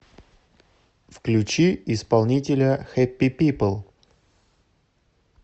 включи исполнителя хэппи пипл